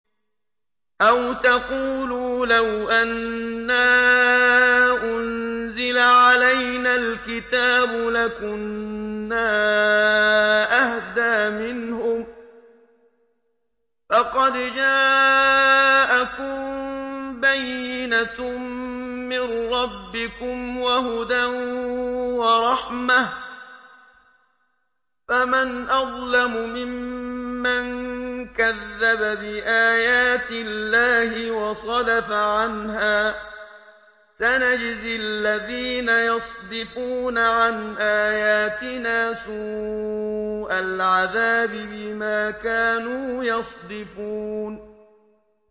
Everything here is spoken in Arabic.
أَوْ تَقُولُوا لَوْ أَنَّا أُنزِلَ عَلَيْنَا الْكِتَابُ لَكُنَّا أَهْدَىٰ مِنْهُمْ ۚ فَقَدْ جَاءَكُم بَيِّنَةٌ مِّن رَّبِّكُمْ وَهُدًى وَرَحْمَةٌ ۚ فَمَنْ أَظْلَمُ مِمَّن كَذَّبَ بِآيَاتِ اللَّهِ وَصَدَفَ عَنْهَا ۗ سَنَجْزِي الَّذِينَ يَصْدِفُونَ عَنْ آيَاتِنَا سُوءَ الْعَذَابِ بِمَا كَانُوا يَصْدِفُونَ